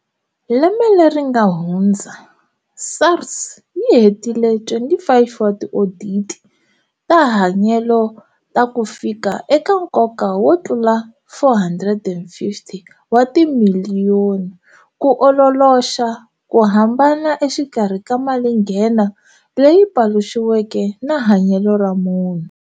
Lembe leri nga hundza, SARS yi hetile 25 wa tioditi ta hanyelo ta ku fika eka nkoka wo tlula R450 wa timiliyoni ku ololoxa ku hambana exikarhi ka mali nghena leyi paluxiweke na hanyelo ra munhu.